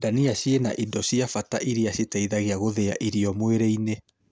Ndania ciĩna na indo cia bata iria citeithagia gũthĩa irio mwĩrĩ-inĩ